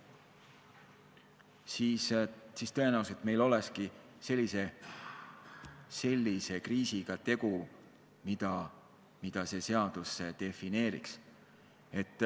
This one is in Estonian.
Siis tõenäoliselt meil olnukski tegu sellise kriisiga, mida see seadus defineeriks.